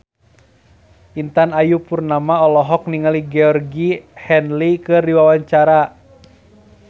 Intan Ayu Purnama olohok ningali Georgie Henley keur diwawancara